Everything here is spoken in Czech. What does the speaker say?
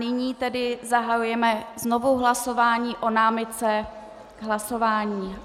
Nyní tedy zahajujeme znovu hlasování o námitce k hlasování.